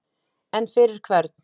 En fyrir hvern?